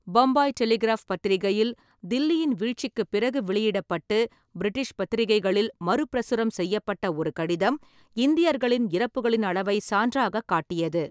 Bombay Telegraph பத்திரிகையில் தில்லியின் வீழ்ச்சிக்குப் பிறகு வெளியிடப்பட்டு, பிரிட்டிஷ் பத்திரிகைகளில் மறுபிரசுரம் செய்யப்பட்ட ஒரு கடிதம், இந்தியர்களின் இறப்புகளின் அளவைச் சான்றாகக் காட்டியது.